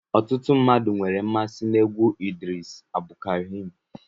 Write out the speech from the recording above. Ọtụtụ mmadụ nwere mmasị n'egwu Idris Abdulkareem